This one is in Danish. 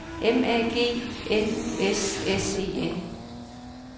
M A G N U S S E N